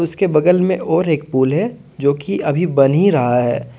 उसके बगल में और एक पूल है जो कि अभी बनी रहा है।